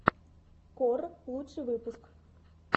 кор лучший выпуск